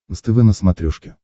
нств на смотрешке